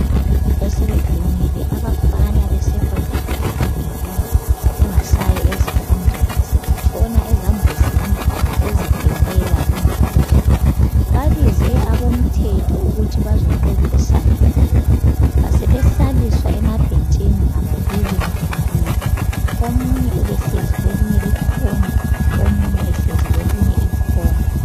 Besebedumile abafana be-secondary ngobugebengu, bengasayi ezifundweni sebetshona ezambuzini bezibhemela imbanje. Babize abomthetho ukuthi bazo xoxisana labo. Basebehlaliswa emabhentshini, ngababili ngababili. Omunye ubehlezi kwelinye ikhona, omunye ehlezi kwelinye ikhona.